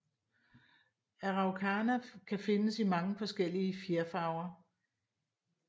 Araucana kan findes i mange forskellige fjerfarver